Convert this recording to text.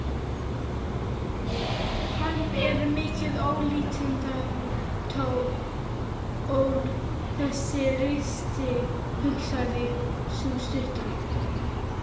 Hann er mikið ólíkindatól þessi ristill, hugsaði sú stutta.